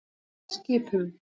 Skipum